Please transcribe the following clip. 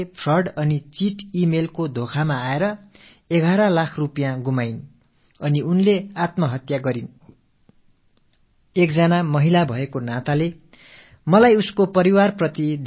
மோசடி மற்றும் ஏமாற்று மின்னஞ்சல் வலையில் சிக்கிய ஒரு பெண் 11 லட்சம் ரூபாயை இழந்து முடிவாகத் தற்கொலை செய்து கொண்டார் என்று அண்மையில் நான் ஒரு செய்திக் கட்டுரையில் படித்தேன்